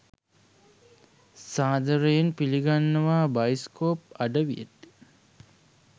සාදරයෙන් පිලිගන්නවා බයිස්කෝප් අඩවියට